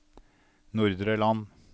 Nordre Land